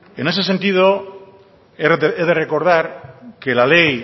en ese sentido he de recordar